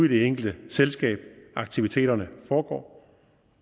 i det enkelte selskab aktiviteterne foregår